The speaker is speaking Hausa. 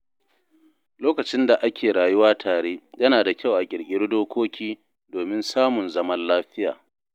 Lokacin da ake rayuwa tare, yana da kyau a ƙirƙiri dokoki domin samun zaman lafiya.